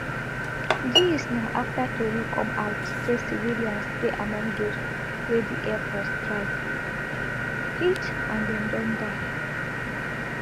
dis na afta tori come out say civilians dey among dose wey di air force strike hit and dem don die